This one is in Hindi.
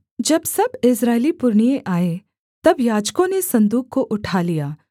जब सब इस्राएली पुरनिये आए तब याजकों ने सन्दूक को उठा लिया